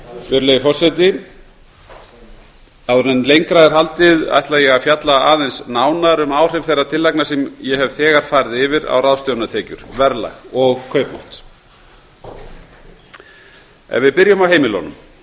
virðulegi forseti áður en lengra er haldið ætla ég að fjalla aðeins nánar um áhrif þeirra tillagna sem ég hef þegar farið yfir á ráðstöfunartekjur verðlag og kaupmátt byrjum á heimilunum